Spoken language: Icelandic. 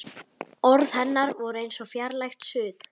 Orð hennar voru eins og fjarlægt suð.